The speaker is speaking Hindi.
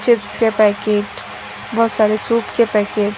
चिप्स के पैकेट बहोत सारे सूप के पैकेट ।